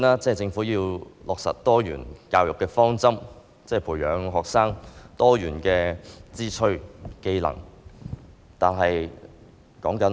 政府要落實多元教育的方針，培養學生多元的志趣和技能。